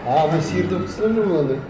а мен сиыр деп тұрсам мен оны